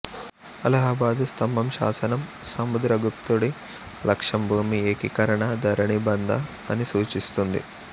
అలహాబాదు స్థంభం శాసనం సముద్రాగుప్తుడి లక్ష్యం భూమి ఏకీకరణ ధరణిబంధ అని సూచిస్తుంది